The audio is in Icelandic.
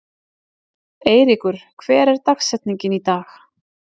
Eyríkur, hver er dagsetningin í dag?